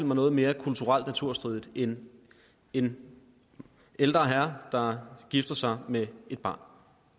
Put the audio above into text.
mig noget mere kulturelt naturstridigt end en ældre herre der gifter sig med et barn